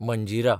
Manjira